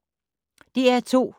DR2